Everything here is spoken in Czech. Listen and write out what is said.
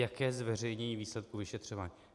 Jaké zveřejnění výsledků vyšetřování?